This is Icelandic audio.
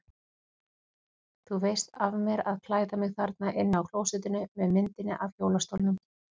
Þú veist af mér að klæða mig þarna inni á klósettinu með myndinni af hjólastólnum.